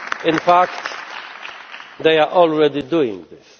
In fact, they are already doing this.